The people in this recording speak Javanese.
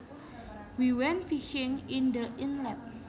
We went fishing in the inlet